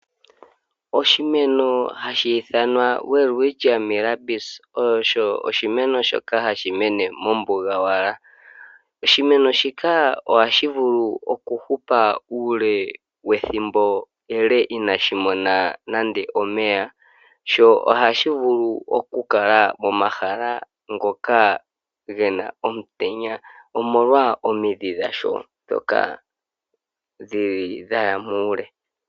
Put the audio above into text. Oshimeno hashi ithanwa Welwitschia mirabilis osho oshimeno shoka hashi mene mombuga owala. Oshimeno shika ohashi vulu oku hupa uule wethimbo inaashi mona nande omeya, sho ohashi vulu oku kala momahala ngoka gena omutenya, omolwa omidhi dhasho ndhoka dhaya muule.